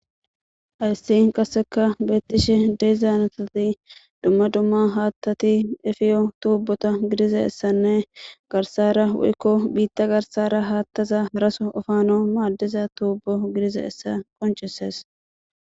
hayssi qasseka beettishe deezaanatati dumma dumma haattati efiyo tuubota gidiza essanne garsara woykko biitta garsara haattaza haraso efaana maaddiza tuubbo gidizayisa qoncisees